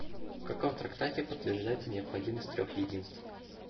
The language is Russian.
в каком трактате подтверждается необходимость трех единств